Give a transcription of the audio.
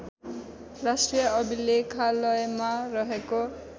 राष्ट्रिय अभिलेखालयमा रहेको